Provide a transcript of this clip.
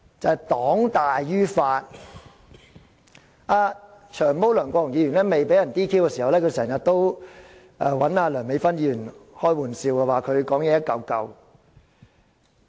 前議員"長毛"梁國雄未被 "DQ" 前，經常與梁美芬議員開玩笑，說她發言"一嚿嚿"。